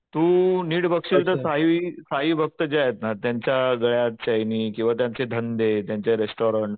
तू नीट बघशील तर साई साई भक्त जे आहेत ना त्यांच्या गळ्यात चैनी किंवा त्याचे धंदे त्यांचे रेस्टोरंट